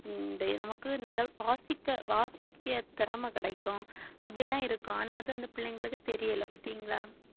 நமக்கு நல்ல வாசிக்க வாசிக்க திறமை கிடைக்கும் அப்படி எல்லாம் இருக்கும் ஆனா அது அந்த பிள்ளைங்களுக்கு தெரியலே பாத்தீங்களா